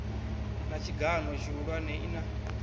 na tshigan o tshihulwane ina